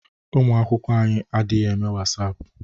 Ụmụ akwụkwọ anyị adịghị eme Wasaapụ.